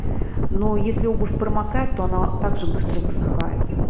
ну если обувь промокает то она так же быстро высыхает